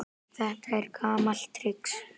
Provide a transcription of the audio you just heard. Þetta er gamalt trix.